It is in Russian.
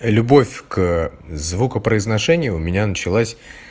и любовь к звукопроизношению у меня началась